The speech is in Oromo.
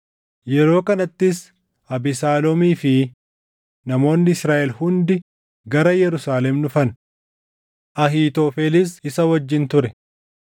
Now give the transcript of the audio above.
Yeroo kanattis Abesaaloomii fi namoonni Israaʼel hundi gara Yerusaalem dhufan; Ahiitofelis isa wajjin ture.